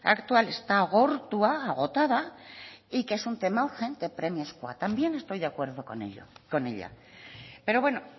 actual está agortua agotada y que es un tema urgente premiazkoa también estoy de acuerdo con ella pero bueno